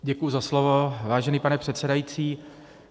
Děkuji za slovo, vážený pane předsedající.